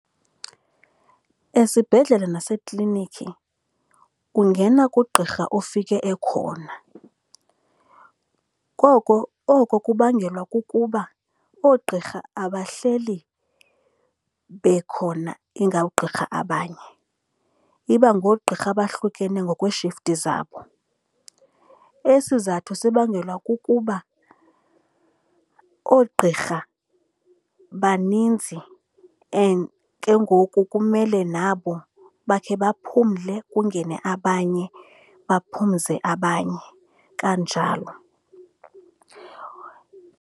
Esibhedlele naseklinikhi ungena kugqirha ufike ekhona. Koko oko kubangelwa kukuba oogqirha abahleli bekhona ingawoogqirha abanye. Iba ngoogqirha abahlukene ngokwee-shifti zabo. Esi sizathu sibangelwa kukuba oogqirha baninzi and ke ngoku kumele nabo bakhe baphumle, kungene abanye baphumze abanye kanjalo.